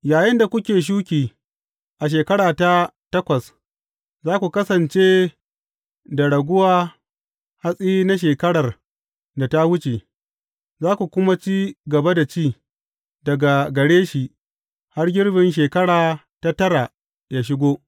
Yayinda kuke shuki a shekara ta takwas, za ku kasance da raguwa hatsi na shekarar da ta wuce, za ku kuma ci gaba da ci daga gare shi har girbin shekara ta tara yă shigo.